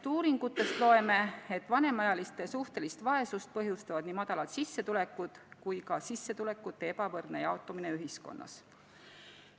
Uuringutest loeme, et vanemaealiste suhtelist vaesust põhjustavad nii madalad sissetulekud kui ka sissetulekute ebavõrdne jaotumine ühiskonnas.